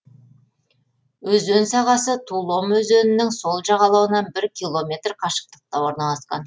өзен сағасы тулом өзенінің сол жағалауынан бір километр қашықтықта орналасқан